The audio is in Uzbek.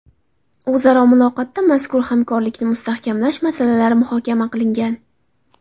O‘zaro muloqotda mazkur hamkorlikni mustahkamlash masalalari muhokama qilingan.